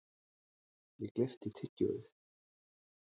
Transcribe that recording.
Ég gleypti tyggjóið.